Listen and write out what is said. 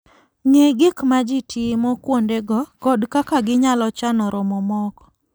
Ng'e gik ma ji timo kuondego kod kaka ginyalo chano romo moko.